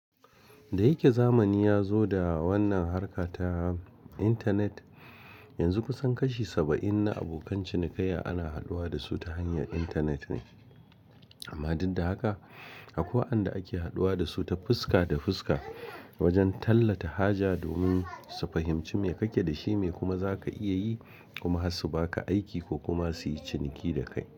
Da yake zamani ya zo da wannan harka ta intanet, yanzu kusan kashi saba'in na abokan cinikayya ana haduwa da su ta hanyar intanet ne. Amma duk da haka akwai waɗanda ake haduwa da su ta fuska da fuska wajen tallata haja domin su fahimci me kake da shi, me kuma zaka iya yi kuma su baka aiki ko kuma su yi ciniki dakai.